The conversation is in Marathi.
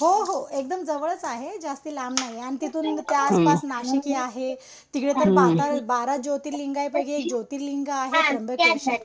हो हो एकदम जवळच आहे जास्त लांब नाही. आणि तिथून ते आसपास नाशिक हि आहे. तिकडे ते बारा ज्योतिर्लिंगापैकी एक ज्योतिर्लिंग आहे त्र्यंबकेश्वर.